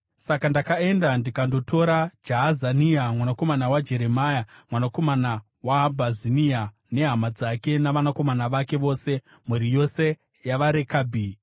Saka ndakaenda ndikandotora Jaazania mwanakomana waJeremia, mwanakomana waHabhazinia, nehama dzake navakomana vake vose, mhuri yose yavaRekabhi.